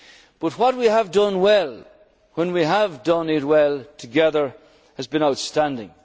clear. But what we have done well, when we have done it well together, has been